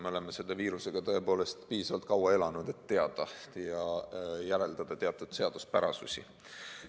Me oleme selle viirusega piisavalt kaua elanud, et teada ja järeldada teatud seaduspärasusi.